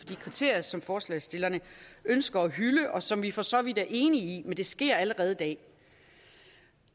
de kriterier som forslagsstillerne ønsker at hylde og som vi for så vidt er enige i men det sker allerede i dag